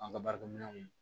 An ka baarakɛminɛnw